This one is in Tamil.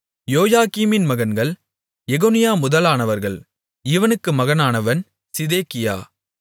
யோயாக்கீமின் மகன்கள் எகொனியா முதலானவர்கள் இவனுக்கு மகனானவன் சிதேக்கியா